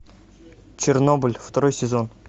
чернобыль второй сезон